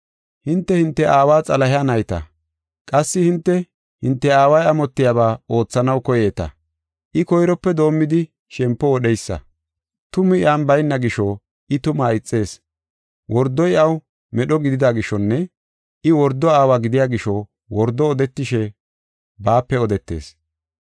Hinte, hinte aawa Xalahe nayta. Qassi hinte, hinte aaway amotiyaba oothanaw koyeeta. I koyrope doomidi shempo wodheysa. Tumi iyan bayna gisho I tumaa ixees. Wordoy iyaw medho gidida gishonne I wordo aawa gidiya gisho wordo odetishe baape odetees.